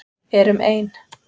Erum ein.